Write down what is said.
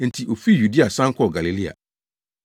Enti ofii Yudea san kɔɔ Galilea.